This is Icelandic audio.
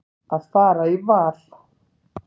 Að fara í val.